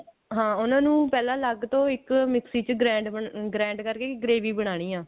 ਹਾਂ ਉਹਨਾਂ ਨੂੰ ਪਹਿਲਾਂ ਅਲੱਗ ਤੋਂ ਇੱਕ ਮਿਕਸੀ ਚ grand ਅਮ grand ਕਰਕੇ gravy ਬਨਾਨੀ ਹੈ